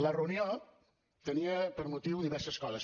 la reunió tenia per motiu diverses coses